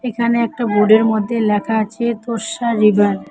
এখানে একটা বোর্ডের মধ্যে লেখা আছে তোরটা রিভার ।